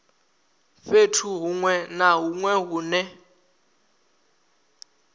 fhethu hunwe na hunwe hune